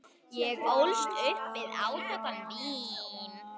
Ég ólst upp við átök um vín.